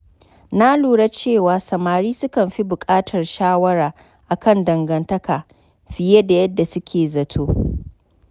Na lura cewa samari sukan fi buƙatar shawara a kan dangantaka fiye da yadda suke zato.